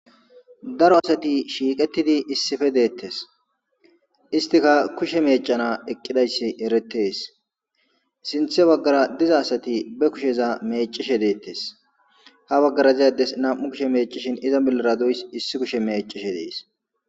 Daro asati shiiqettidi issife deettes. istika kushe meecana eqqidayssi eretees. Sinthe baggara diza asati be kusheza meeccishe deettes. Ha baggara ziyades nam7u kushe meecishin iza millera deys issi kushe meecishe dees.